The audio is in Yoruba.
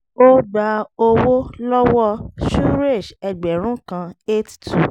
ó gba owó lọ́wọ́ suresh ẹgbẹ̀rún kan eight two